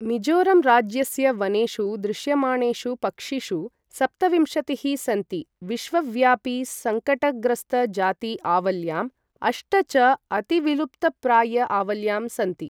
मिज़ोरं राज्यस्य वनेषु दृश्यमाणेषु पक्षिषु सप्तविंशतिः सन्ति विश्वव्यापि संकटग्रस्त जाति आवल्यां, अष्ट च अतिविलुप्तप्राय आवल्यां सन्ति ।